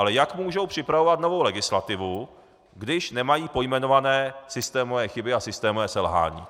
Ale jak mohou připravovat novou legislativu, když nemají pojmenované systémové chyby a systémová selhání?